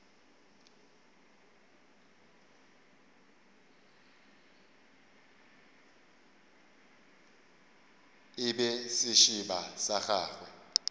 e be sešeba sa gagwe